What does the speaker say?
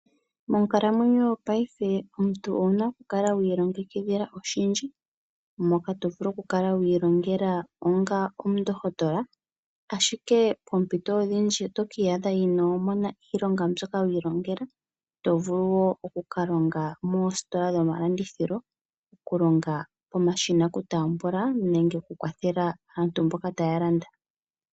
Monkalamwenyo paife omuntu owuna okukala wii ilongekidhila oshindji, moka tovulu okukala wiilongela onga omundokotola. Ashike oompito odhindji tokii adha inomona iilonga mbyoka wiilongela, to vulu woo okukalonga moositola dho malandithilo, okulonga pomashina oku tambula , nenge okukwathela aantu mboka taya landa.